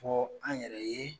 Fɔ an yɛrɛ ye